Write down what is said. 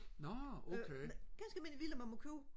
ganske almindelig villa man må købe